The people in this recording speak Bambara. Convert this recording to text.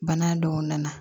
Bana dɔw nana